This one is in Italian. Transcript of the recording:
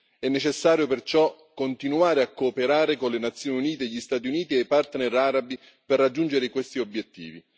È necessario perciò continuare a cooperare con le Nazioni Unite, gli Stati Uniti e i partner arabi per raggiungere questi obiettivi.